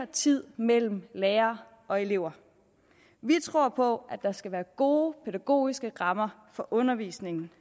tid mellem lærer og elever vi tror på at der skal være gode pædagogiske rammer for undervisningen